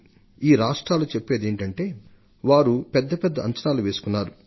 ఈ రాష్ట్రాలు చెప్పేదేమిటంటే వారు పెద్దపెద్ద అంచనాలు వేసుకున్నారు